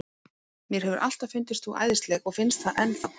Mér hefur alltaf fundist þú æðisleg og finnst það enn þá.